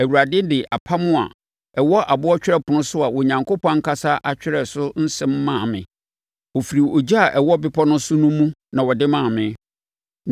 Awurade de apam a ɛwɔ aboɔ twerɛpono so a Onyankopɔn ankasa atwerɛ so nsɛm maa me. Ɔfiri ogya a ɛwɔ bepɔ no so no mu na ɔde maa me.